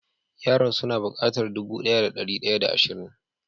Yaran su na bukatar dubu daya da dari daya da asrin.